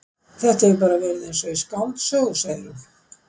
Þetta hefur bara verið eins og í skáldsögu, segir hún.